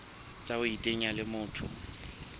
tsa ho iteanya le motho